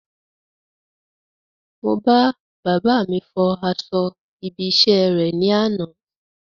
Mo bá bàbáà mi fọ aṣọ ibi iṣẹ́ rè ní àná.